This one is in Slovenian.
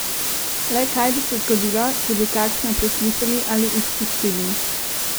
Le kaj bi se zgodilo, če bi kakšno preslišali ali izpustili?